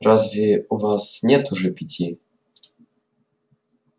разве у вас нет уже пяти